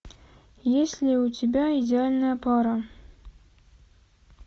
есть ли у тебя идеальная пара